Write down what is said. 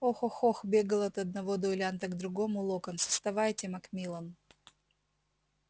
ох ох ох бегал от одного дуэлянта к другому локонс вставайте макмиллан